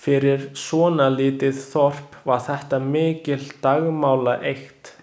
Fyrir svona lítið Þorp var þetta mikil dagmálaeykt.